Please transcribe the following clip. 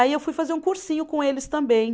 Aí eu fui fazer um cursinho com eles também.